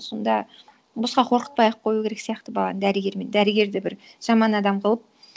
сонда босқа қорқытпай ақ қою керек сияқты баланы дәрігермен дәрігерді бір жаман адам қылып